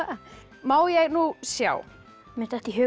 má ég nú sjá mér datt í hug